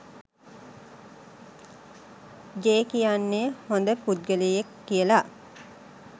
J කියන්නේ හොඳ පුද්ගලයෙක් කියලා